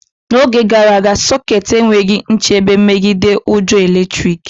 N'oge gara aga, sokets enweghị nchebe megide ujo eletrik